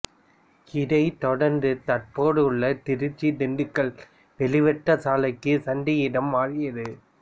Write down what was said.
இதைத் தொடர்ந்து தற்போது உள்ள திருச்சிதிண்டுக்கல் வெளிவட்ட சாலைக்கு சந்தை இடம் மாறியது